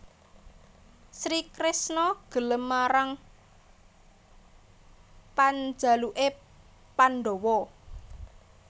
Sri Kresna gelem marang panjaluké pandhawa